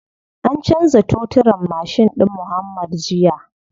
An canza toturin mashin ɗin muuhammad jiya.